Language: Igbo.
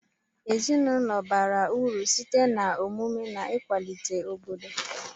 Ezinụlọ bara uru sitee na omụmu na nkwalite obodo